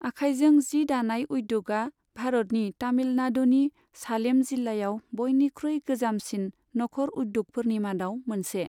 आखाइजों जि दानाय उद्य'गआ भारतनि तामिलनाडुनि सालेम जिल्लायाव बयनिख्रुइ गोजामसिन नखर उद्य'गफोरनि मादाव मोनसे।